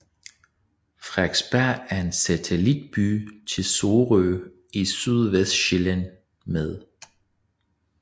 Frederiksberg er en satellitby til Sorø i Sydvestsjælland med